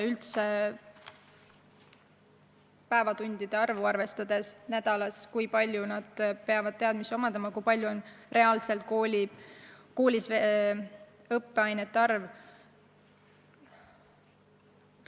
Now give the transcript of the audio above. Tuleb arvestada senist tundide arvu nädalas, kui palju nad peavad teadmisi omandama, kui palju on reaalselt koolis õppeaineid.